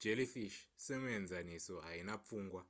jellyfish somuenzaniso haina pfungwa